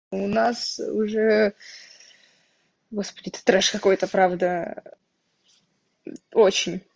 у нас уже господи это трёшь какой-то правда очень